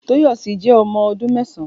Toyosi jẹ ọmọ ọdun mẹsãn